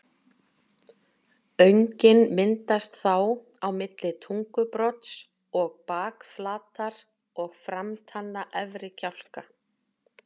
Öngin myndast þá á milli tungubrodds og bakflatar og framtanna efri kjálka.